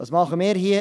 Was tun wir hier?